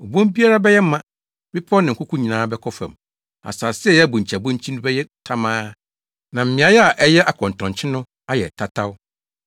Obon biara bɛyɛ ma. Bepɔw ne nkoko nyinaa bɛkɔ fam; asase a ɛyɛ abonkyiabonkyi no bɛyɛ tamaa, na mmeae a ɛyɛ akɔntɔnkye no ayɛ tataw.